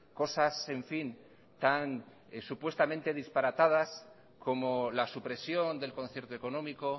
cosas en fin tan supuestamente disparatadas como la supresión del concierto económico